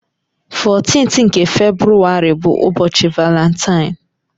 14th nke Febrụwarị bụ ụbọchị Valentine.